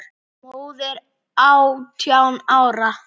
Móðir átján ára?